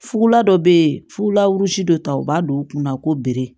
Fugula dɔ be ye fulaw si dɔ ta u b'a don u kunna ko bere